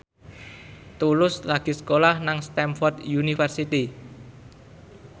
Tulus lagi sekolah nang Stamford University